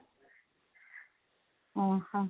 ଅଁ ହଁ